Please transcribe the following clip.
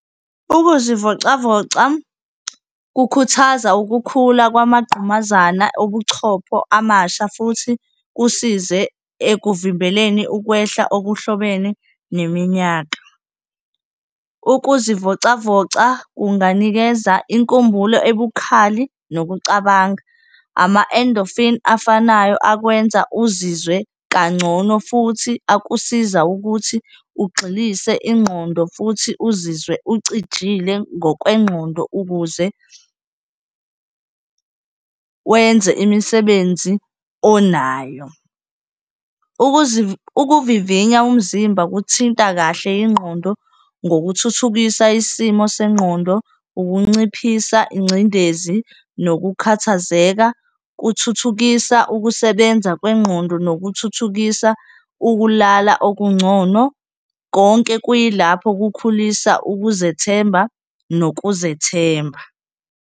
Ukuzivocavoca kukhuthaza ukukhula kwamaqqumazana obuchopho amasha futhi kusize ekuvimbeleni ukwehla okuhlobene neminyaka. Ukuzivocavoca kunganikeza inkumbulo ebhukhali nokucabanga. Ama-endorphin-i afanayo akwenza uzizwe kangcono futhi akusiza ukuthi ugxilise ingqondo futhi uzizwe ucijile ngokwengqondo ukuze wenze imisebenzi onayo. Ukuvivinya umzimba kuthinta kahle ingqondo ngokuthuthukisa isimo sengqondo. Ukunciphisa ingcindezi nokukhathazeka kuthuthukisa ukusebenza kwengqondo, nokuthuthukisa ukulala okungcono konke kuyilapho kukhulisa ukuzethemba nokuzethemba.